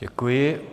Děkuji.